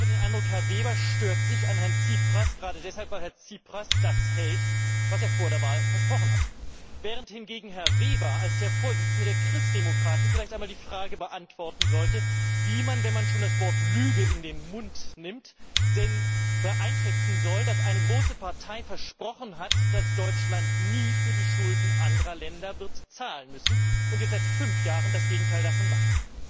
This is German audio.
Ich habe den Eindruck, Herr Weber stört sich an Herrn Tsipras gerade deshalb, weil Herr Tsipras das hält, was er vor der Wahl versprochen hat, während hingegen Herr Weber als der Vorsitzende der Christdemokraten vielleicht einmal die Frage beantworten sollte, wie man, wenn man schon das Wort Lüge in den Mund nimmt, es denn einschätzen soll, dass eine große Partei versprochen hat, dass Deutschland nie für die Schulden anderer Länder wird zahlen müssen, und jetzt seit fünf Jahren das Gegenteil davon macht.